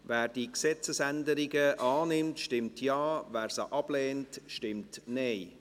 Wer diese Gesetzesänderungen annimmt, stimmt Ja, wer diese ablehnt, stimmt Nein.